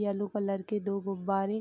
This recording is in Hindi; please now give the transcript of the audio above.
येलो कलर के दो गुब्बारे --